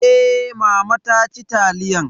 Eh mama ta ci taliyan.